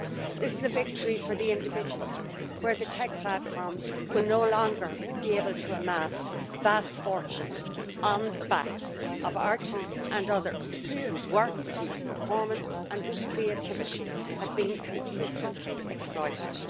This is a victory for the individual where the tech platforms will no longer be able to amass vast fortunes on the backs of artists and others whose works, whose performance and whose creativity has been consistently exploited.